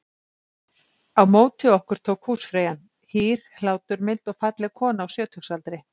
Á móti okkur tók húsfreyjan- hýr, hláturmild og falleg kona á sjötugsaldri.